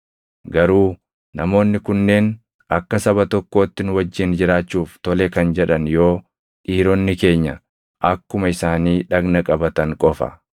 Garuu namoonni kunneen akka saba tokkootti nu wajjin jiraachuuf tole kan jedhan yoo dhiironni keenya akkuma isaanii dhagna qabatan qofa.